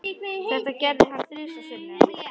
Þetta gerði hann þrisvar sinnum.